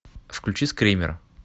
включи скример